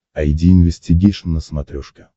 айди инвестигейшн на смотрешке